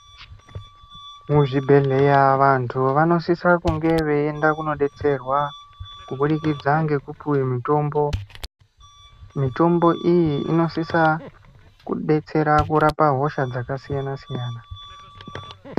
Mu zvibhehleya vantu vanosisa kunge veyi enda kuno detserwa ku budikidza ngeku puwe mutombo mitombo iyi inosisa kudetsera kurapa hosha dzaka siyana siyana.